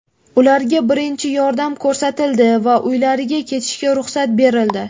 Ularga birinchi yordam ko‘rsatildi va uylariga ketishga ruxsat berildi.